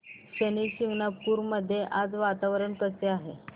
शनी शिंगणापूर मध्ये आज वातावरण कसे आहे